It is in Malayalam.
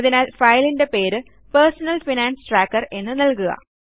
അതിനാൽ ഫയലിൻറെ പേര് പെർസണൽ ഫൈനാൻസ് ട്രാക്കർ എന്ന് നൽകുക